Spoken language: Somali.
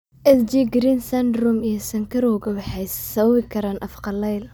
Sjgren's syndrome iyo sonkorowga waxay sababi karaan af qallayl.